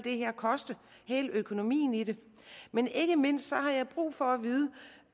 koste hele økonomien i det men ikke mindst har jeg brug for